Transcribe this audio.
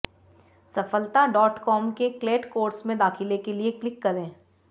सफलताडॉटकॉम के CLAT course में दाखिले के लिए क्लिक करें